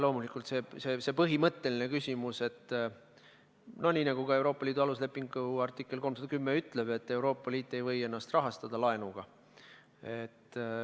Loomulikult, see on põhimõtteline küsimus, nii nagu ka Euroopa Liidu aluslepingu artikkel 310 ütleb, et Euroopa Liit ei või ennast rahastada laenuga.